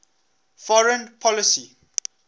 foreign policy